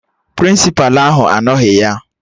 Prịnsịpa ahụ anoghi ya